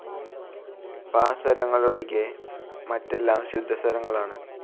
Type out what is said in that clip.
പ സ്വരങ്ങൾ ഒഴികെ മറ്റെല്ലാം ശുദ്ധസ്വരങ്ങൾ ആണ്.